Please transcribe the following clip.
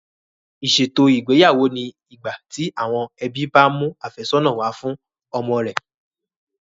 Ìṣètò ìgbéyàwó ni ìgbà tí àwọn ẹbí bá mú àfẹ́sọ̀nà wá fún ọmọ rẹ̀